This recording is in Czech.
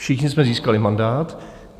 Všichni jsme získali mandát.